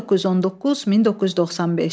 1919-1995.